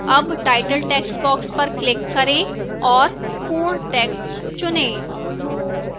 अब title textbox पर click करें और पूर्ण text चुनें